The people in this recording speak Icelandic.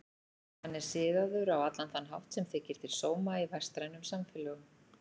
Hann er siðaður á allan þann hátt sem þykir til sóma í vestrænum samfélögum.